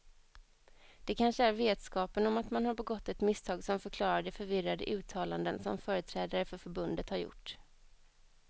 Det kanske är vetskapen om att man har begått ett misstag som förklarar de förvirrade uttalanden som företrädare för förbundet har gjort.